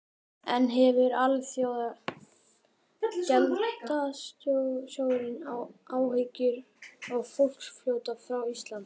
En hefur Alþjóðagjaldeyrissjóðurinn áhyggjur af fólksflótta frá Íslandi?